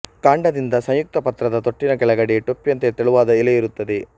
ಕಾಂಡದಿಂದ ಸಂಯುಕ್ತ ಪತ್ರದ ತೊಟ್ಟಿನ ಕೆಳಗಡೆ ಟೊಪ್ಪಿಯಂತೆ ತೆಳುವಾದ ಎಲೆಯಿರುತ್ತದೆ